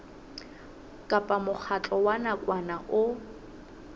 kapa mokgatlo wa nakwana o